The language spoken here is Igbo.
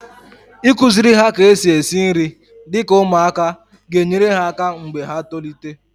Ịkụziri ha ka-esi esi nri dịka ụmụaka ga enyere ha aka mgbe ha tolite